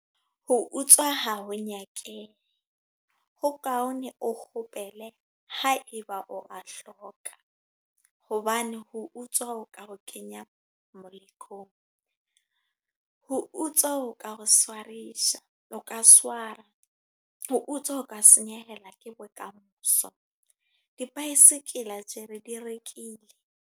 Ho utswa ha ho nyakehe. Ho kaone, o kgopele ha eba o a hloka. Hobane ho utswa, ho ka ho kenya molekong. Ho utswa o ka ho swarisa, o ka swara. Ho utswa ho ka senyehelwa ke bokamoso. Di-bycycle tjela re di rekile.